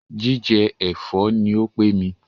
Jíjẹ ẹ̀fọ́ ní o pé mí.